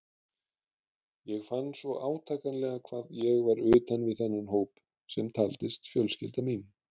Ég fann svo átakanlega hvað ég var utan við þennan hóp sem taldist fjölskylda mín.